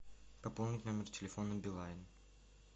пополнить номер телефона билайн